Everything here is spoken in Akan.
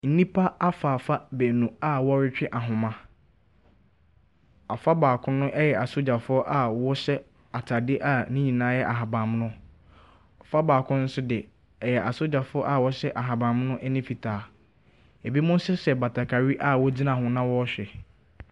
Nnipa afaafa baanu a wɔn retwe ahoma. Afa baako no ɛyɛ asogyafoɔ a wɔn hyɛ ataade a ne nyinaa yɛ ahabammono. Ɔfa baako nso de ɛyɛ asogyafoɔ a wɔhyɛ ahabammono ɛne fitaa. Ebinom nso hyɛ batakari a wɔn gyina ho na wɔn ɛrehwɛ.